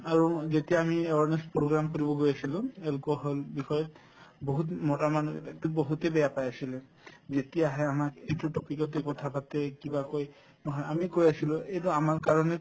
আৰু যেতিয়া আমি awareness program কৰিব গৈ আছিলো alcohol বিষয়ত বহুত উম মতা মানুহে বহুতে বেয়া পাই আছিলে যেতিয়া আহে আমাক এইটো topic তে কথা পাতে কিবা কই নহয় আমি কৈ আছিলো এইটো আমাৰ কাৰণে